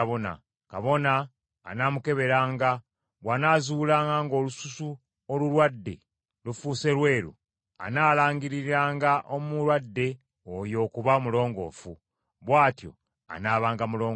Kabona anaamukeberanga, bw’anaazuulanga ng’olususu olulwadde lufuuse lweru, anaalangiriranga omulwadde oyo okuba omulongoofu; bw’atyo anaabanga mulongoofu.